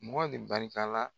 Mɔgɔ le barika la.